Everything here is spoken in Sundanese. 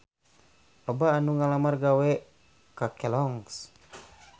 Loba anu ngalamar gawe ka Kelloggs